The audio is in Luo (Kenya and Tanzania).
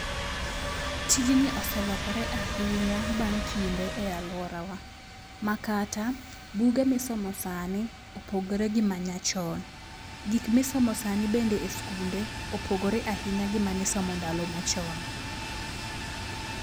Tijni oselokore ahinya bang' kinde e aluorawa makata buge misomo sani opogre gi ma nyachon. Gik misomo sani bende es kunde opogre ahinya gi mani somo ndalo machon.